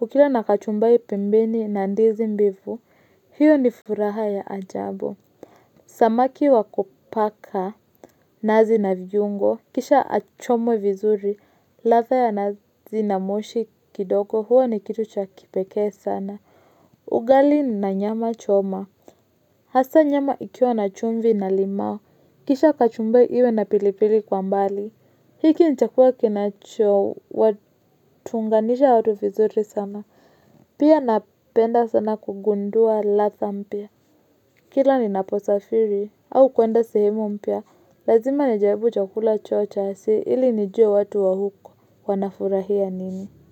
Ukila na kachumbari pembeni na ndizi mbivu, hiyo ni furaha ya ajabu. Samaki wa kupaka, nazi na viungo, kisha achomwe vizuri, ladha ya nazi na moshi kidogo huwa ni kitu cha kipekee sana. Ugali na nyama choma, hasa nyama ikiwa na chumvi na limau, kisha kachumbari iwe na pilipili kwa mbali. Hiki ni chakula kinacho watunganisha watu vizuri sana, pia napenda sana kugundua ladha mpya. Kila ninaposafiri au kuenda sehemu mpya, lazima nijaribu chakula chao cha asili, ili nijue watu wa huko wanafurahia nini.